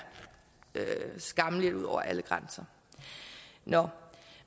skammeligt ud over alle grænser nå